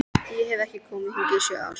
Ég hef ekki komið hingað í sjö ár